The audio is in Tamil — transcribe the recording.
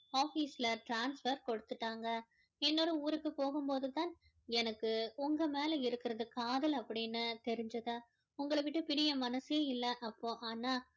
office ல transfer கொடுத்துட்டாங்க இன்னொரு ஊருக்கு போகும்போது தான் எனக்கு உங்க மேல இருக்கிறது காதல் அப்படின்னு தெரிஞ்சது உங்கள விட்டு பிரிய மனசே இல்லை அப்போ ஆனா